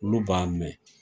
Olu b'a mɛn.